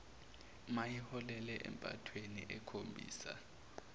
mayiholele empathweni ekhombisa